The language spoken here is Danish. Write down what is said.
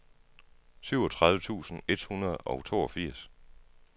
syvogtredive tusind et hundrede og toogfirs